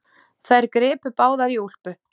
Þær gripu báðar í úlpu